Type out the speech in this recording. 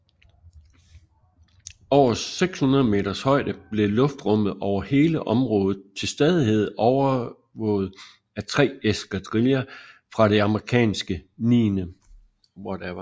Over 600 meters højde blev luftrummet over hele området til stadighed overvåget af tre eskadriller fra det amerikanske 9